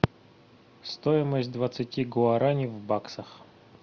стоимость двадцати гуарани в баксах